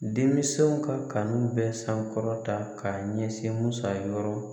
Denmisɛnw ka kanu bɛ sankɔrɔta k'a ɲɛsin musa yɔrɔ